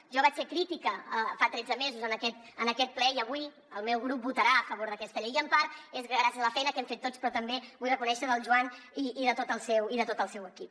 jo hi vaig ser crítica fa tretze mesos en aquest ple i avui el meu grup votarà a favor d’aquesta llei i en part és gràcies a la feina que hem fet tots però també vull reconèixer la del joan i de tot el seu equip